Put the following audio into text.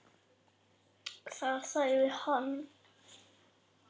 Þar sagði hann